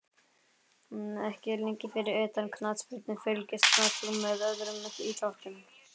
Ekki lengi Fyrir utan knattspyrnu, fylgist þú með öðrum íþróttum?